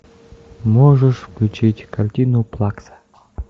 можешь включить картину плакса